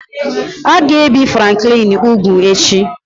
A ga-ebi Franklin úgwù echi